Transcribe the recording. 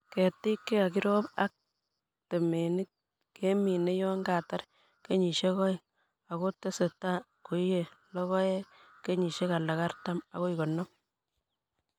Ketik chekakirob ak ketemik kemine yon katar kenyisiek oeng'. Ako tesetai koiye logoek kenyisiek alak artam akoi konom.